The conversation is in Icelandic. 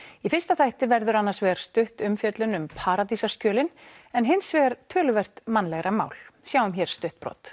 í fyrsta þætti verður annars vegar stutt umfjöllun um en hins vegar töluvert mannlegra mál sjáum hér stutt brot